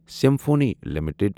symphony limited